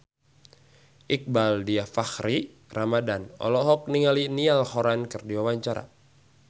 Iqbaal Dhiafakhri Ramadhan olohok ningali Niall Horran keur diwawancara